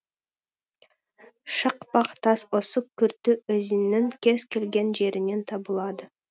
шақпақ тас осы күрті өзенінің кез келген жерінен табылады